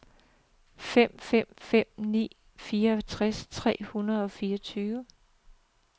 fem fem fem ni fireogtres tre hundrede og fireogtyve